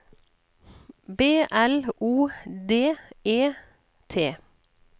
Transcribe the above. B L O D E T